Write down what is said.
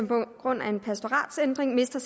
på grund af en pastoratsændring mister